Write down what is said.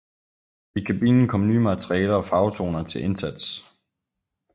I kabinen kom nye materialer og farvetoner til indsats